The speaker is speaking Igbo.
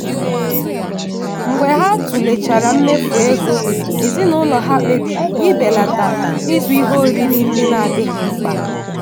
mgbe ha tụlechara mmefu ego ezinụlọ ha kpebiri ibelata ịzụ ihe oriri ndị na-adịghị mkpa.